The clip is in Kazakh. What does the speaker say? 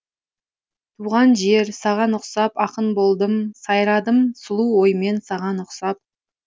туған жер саған ұқсап ақын болдым сайрадым сұлу оймен саған ұқсап